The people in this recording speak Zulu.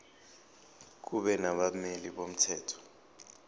kube nabameli bomthetho